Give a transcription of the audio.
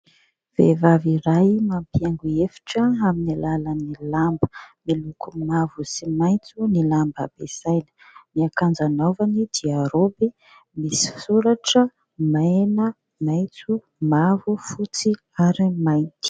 Vehivavy iray mampihaingo efitra amin'ny alalan'ny lamba. Miloko mavo sy maitso ny lamba ampiasainy. Ny akanjo anaovany dia raoby misy soratra mena, maitso, mavo, fotsy ary mainty.